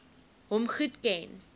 hom goed geken